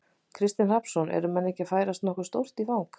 Kristinn Hrafnsson: Eru menn ekki að færast nokkuð stórt í, í fang?